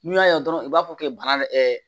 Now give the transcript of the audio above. N'u y'a ye dɔrɔn u b'a fɔ k'i bana